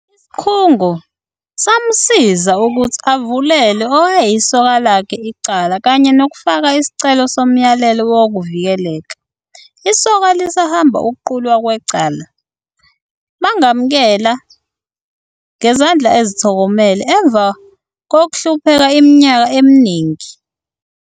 Isikhungo samusiza ukuthi avulele owayeyisoka lakhe icala kanye nokufaka isicelo somyalelo wokuvikeleka. Isoka lisahamba ukuqulwa kwecala. "Bangamukela ngezandla ezithokomele emva kokuhlupheka iminyaka eminingi."